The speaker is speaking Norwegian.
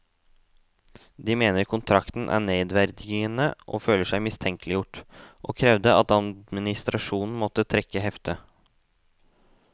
De mener kontrakten er nedverdigende og føler seg mistenkeliggjort, og krevde at administrasjonen måtte trekke heftet.